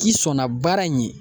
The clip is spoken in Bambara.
K'i sɔnna baara in ye